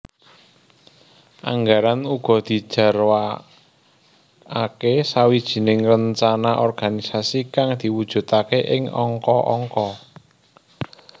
Anggaran uga dijarwakake sawijining rencana organisasi kang diwujudake ing angka angka